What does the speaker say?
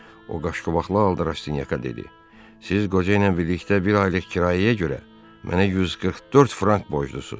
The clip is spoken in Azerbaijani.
O qaşqobaqlı halda Rastinyaka dedi: Siz qoca ilə birlikdə bir aylıq kirayəyə görə mənə 144 frank borclusuz.